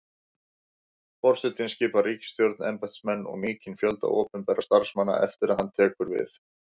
Forsetinn skipar ríkisstjórn, embættismenn og mikinn fjölda opinberra starfsmanna eftir að hann tekur við.